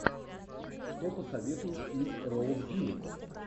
что посоветуешь из роуз бирн